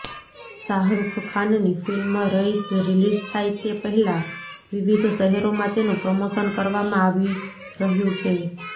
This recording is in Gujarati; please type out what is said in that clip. શાહરૃખખાનની ફિલ્મ રઇશ રિલીઝ થાય તે પહેલા વિવિધ શહેરોમાં તેનું પ્રમોશન કરવામાં આવી રહ્યું છે